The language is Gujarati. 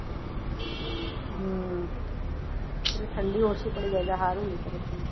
હમ ઠંડી ઓછી પડી જાય તો હારું ને